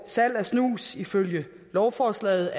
salg af snus er ifølge lovforslaget